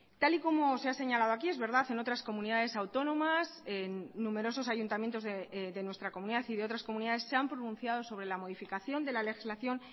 tal y como se ha señalado aquí es verdad en otras comunidades autónomas en numerosos ayuntamientos de nuestra comunidad y de otras comunidades se han pronunciado sobre la modificación de la legislación